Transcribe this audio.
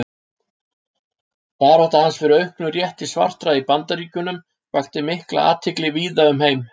Barátta hans fyrir auknum rétti svartra í Bandaríkjunum vakti mikla athygli víða um heim.